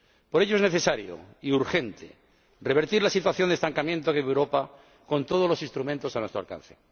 Por ello, es necesario y urgente revertir la situación de estancamiento de Europa con todos los instrumentos a nuestro alcance.